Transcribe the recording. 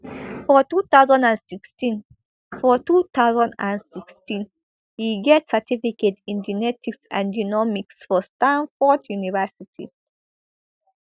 for two thousand and sixteen for two thousand and sixteen e get certificate in genetics and genomics for stanford university